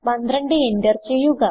12 enter ചെയ്യുക